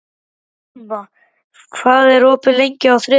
Irma, hvað er opið lengi á þriðjudaginn?